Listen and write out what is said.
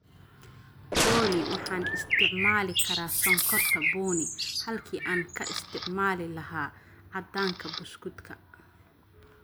olly Waxaan isticmaali karaa sonkorta bunni halkii aan ka isticmaali lahaa cadaanka buskudka